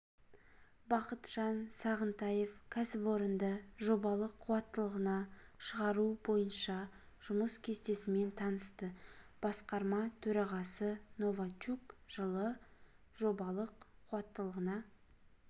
бақытжан сағынтаев кәсіпорынды жобалық қуаттылығына шығару бойынша жұмыс кестесімен танысты басқарма төрағасы новачук жылы жобалық қуаттылығына